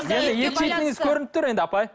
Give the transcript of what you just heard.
ет жейтініңіз көрініп тұр енді апай